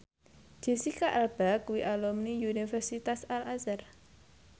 Jesicca Alba kuwi alumni Universitas Al Azhar